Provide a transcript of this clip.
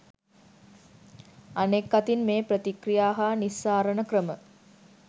අනෙක් අතින් මේ ප්‍රතික්‍රියා හා නිස්සාරණ ක්‍රම